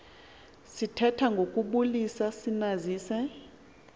sithetha ngokubulisa sinazise